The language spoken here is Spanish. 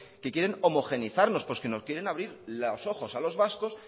que quieren homogeneizarnos que nos quieren abrir los ojos a los vascos